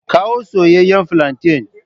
Kawo soyeyyen flantain.